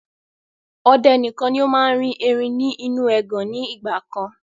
Ọdẹ nìkan ni ó máa ń rí erin ni inu ẹgàn ni ìgbàkan